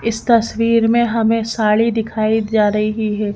इस तस्वीर में हमें साड़ी दिखाई जा रही है।